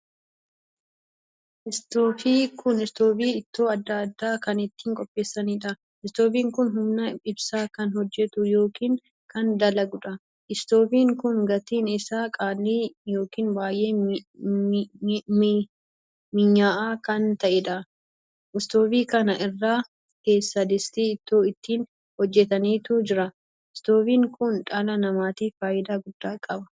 Istoofii kun istoofii ittoo addaa addaa kan ittiin qopheessaniidha. istoofiin kun humna ibsaa kan hojjetu ykn kan dalaguudha. istoofiin kun gatiin isaa qaalii ykn baay'ee minya'aa kan taheedha. istoofii kana irra keessa distii ittoo ittiin hojjetantu jira. istoofiin kun dhala namaatiif faayidaa guddaa qaba.